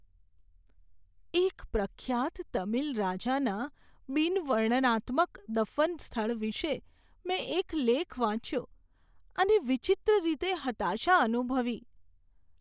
એક પ્રખ્યાત તમિલ રાજાના બિન વર્ણનાત્મક દફન સ્થળ વિશે મેં એક લેખ વાંચ્યો અને વિચિત્ર રીતે હતાશા અનુભવી.